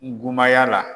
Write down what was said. N go maya la